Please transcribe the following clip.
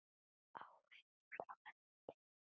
Áhugi frá öðrum liðum?